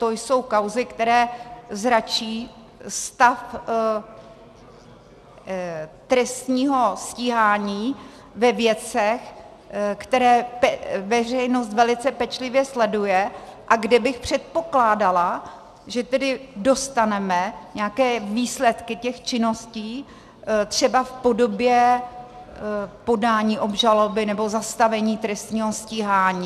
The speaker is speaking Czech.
To jsou kauzy, které zračí stav trestního stíhání ve věcech, které veřejnost velice pečlivě sleduje a kde bych předpokládala, že tedy dostaneme nějaké výsledky těch činností třeba v podobě podání obžaloby nebo zastavení trestního stíhání.